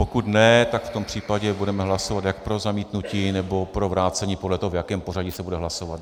Pokud ne, tak v tom případě budeme hlasovat jak pro zamítnutí nebo pro vrácení, podle toho, v jakém pořadí se bude hlasovat.